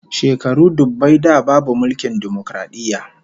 Shekaru dubbai da babu mulkin dimokaradiyya